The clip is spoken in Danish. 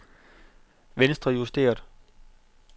venstrejusteret